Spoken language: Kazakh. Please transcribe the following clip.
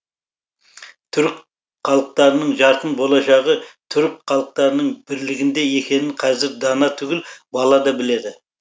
түрік халықтарының жарқын болашағы түрік халықтарының бірлігінде екенін қазір дана түгіл бала да біледі